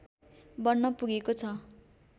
बन्न पुगेको छ